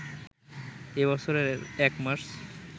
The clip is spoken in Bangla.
এ বছরের ১ মার্চ